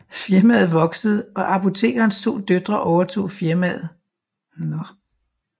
Firmaet voksede og apotekerens to døtre overtog firmaet